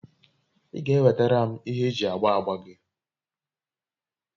i ga enwetara m ihe eji agba agba gi?